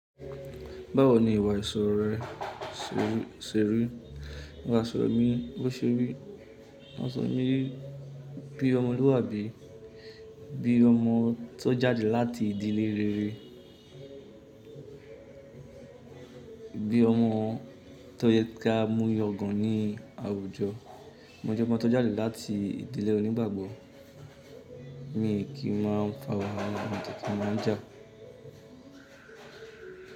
Báwo ni ìwà àìsoro rẹ serí? Àìsoro mi bó seré? Àsoro mi bí ọmọlúwàbí, bí ọmọ tó jáde láti ìdílé rere, bí ọmọ tó yẹ kí á múyàn gan ní àwùjọ. Mo je omo kan tó jáde láti ìdílé onígbàgbọ́ mi kíin máa ń fa wàhálà mide kí nmáa jà.